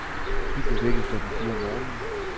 Vi blev vækket klokken fire om morgenen.